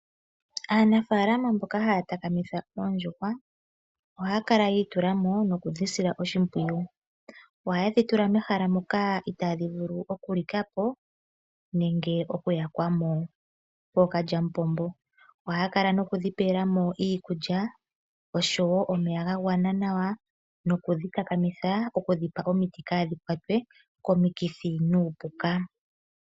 Aanafaalama mboka haya takamitha oondjuhwa ohaya ka kala yi itula mo nokudhi sila oshimpwiyu. Ohaye dhi tula mehala moka itaadhi vulu okulika po nenge okuyakwa mo kookalyamupombo. Ohaya kala nokudhi pela mo iikulya osho wo omeya ga gwana nawa, nokudhi takamitha okudhi pa omiti opo kaadhi kwatwe komikithi nuupuka.